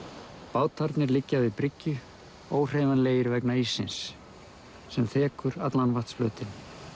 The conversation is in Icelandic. bátarnir liggja við bryggju vegna íssins sem þekur allan vatnsflötinn